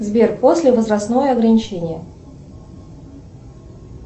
сбер после возрастное ограничение